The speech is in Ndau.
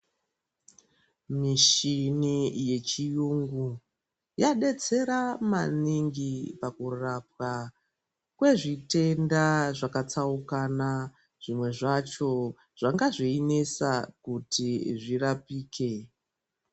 Mishini yechiyungu yadetsera maningi pakurapwa kwezvitenda zvakatsaukana, zvimwe zvacho zvanga zveinesa kuti zvirapike.